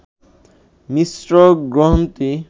মিশ্র গ্রন্থি